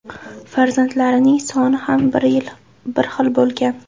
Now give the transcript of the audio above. Farzandlarining soni ham bir xil bo‘lgan.